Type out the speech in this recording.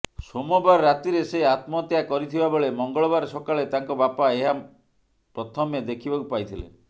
ସୋମବାର ରାତିରେ ସେ ଆତ୍ମହତ୍ୟା କରିଥିବାବେଳେ ମଙ୍ଗଳବାର ସକାଳେ ତାଙ୍କ ବାପା ଏହା ପ୍ରଥମେ ଦେଖିବାକୁ ପାଇଥିଲେ